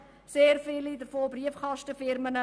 Sehr viele davon sind Briefkastenfirmen.